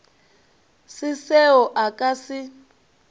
se seo a ka se